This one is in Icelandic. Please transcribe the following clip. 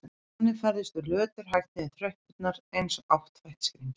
Þannig færðumst við löturhægt niður tröppurnar eins og áttfætt skrímsli.